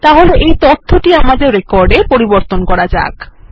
তাহলে এখন তথ্যটি আমাদের রেকর্ড এ পরিবর্তন করা যাক